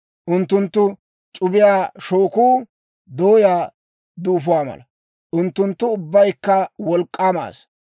Unttunttu c'ubiyaa shookuu dooyaa duufo mala. Unttunttu ubbaykka wolk'k'aama asaa.